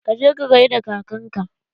Ka je ka gaida kakan ka!